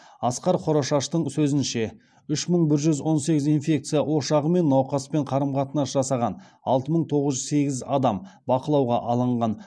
асқар хорошаштың сөзінше үш мың бір жүз он сегіз инфекция ошағы мен науқаспен қарым қатынас жасаған алты мың тоғыз жүз сегіз адам бақылауға алынған